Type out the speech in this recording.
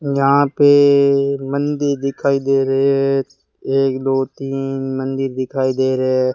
यहां पे मंदिर दिखाई दे रहे है एक दो तीन मंदिर दिखाई दे रहे --